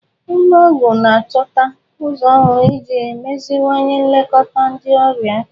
Ụlọ ọgwụ ga na-achọta ụzọ ọhụrụ iji meziwanye nlekọta ndị ọrịa.